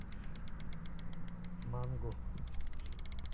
манго